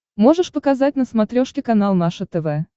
можешь показать на смотрешке канал наше тв